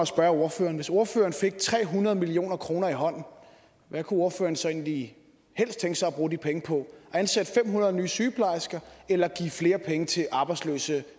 spørge ordføreren hvis ordføreren fik tre hundrede million kroner i hånden hvad kunne ordføreren så egentlig helst tænke sig at bruge de penge på ansætte fem hundrede nye sygeplejersker eller give flere penge til arbejdsløse